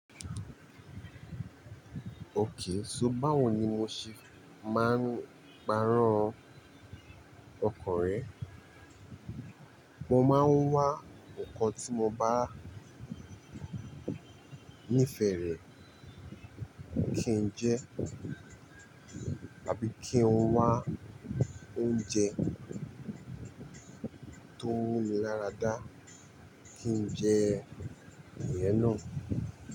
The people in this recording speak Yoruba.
Òkay, so báwo ni mo ṣe máa ń parọ́ ọkọ rẹ? Mo máa ń wá nǹkan tí mo bá níí fèrè kí n jẹ, àbí kí n wá oúnjẹ tó n muni láradá kí n jẹ ìyẹn náà.